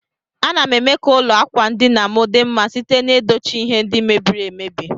Anam eme ka ụlọ akwandinam di mma site na edochi ihe ndi mebiri emebi.